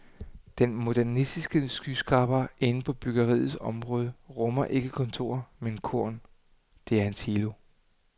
Den modernistiske skyskraber inde på bryggeriets område rummer ikke kontorer, men korn, det er en silo.